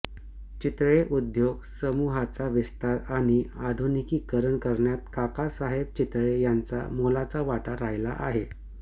चितळे उद्योग समूहाचा विस्तार आणि आधुनिकीकरण करण्यात काका साहेब चितळे यांचा मोलाचा वाटा राहिला आहे